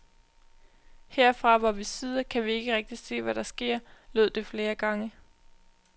Herfra hvor vi sidder, kan vi ikke rigtigt se, hvad der sker, lød det flere gange.